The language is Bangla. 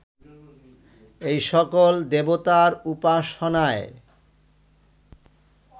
এই সকল দেবতার উপাসনায়